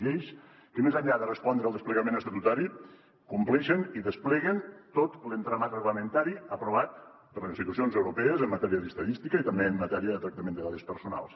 lleis que més enllà de respondre al desplegament estatutari compleixen i despleguen tot l’entramat reglamentari aprovat per les institucions europees en matèria d’estadística i també en matèria de tractament de dades personals